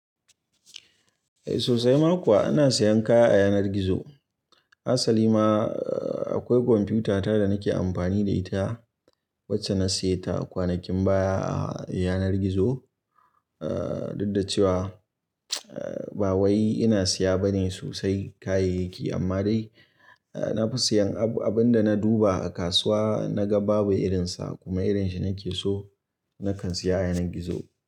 Eh sosai ma kuwa ina siyan kaya a yanar gizo. Asali ma akwai kwamfiyuta ta da nake amfani da ita wacce na siya ta kwanakin baya a yanar gizo. Duk da cewa ba wai ina siya bane sosai kayayyaki amma dai na fi siyan abin da na duba a kasuwa na ga babu irinsa kuma irin shi nake so nakan siya a yanar gizo.